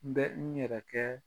N bɛ n yɛrɛ kɛɛ